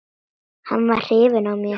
Hann var hrifinn af mér.